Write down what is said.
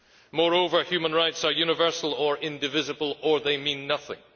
Moreover, human rights are universal and indivisible, or they mean nothing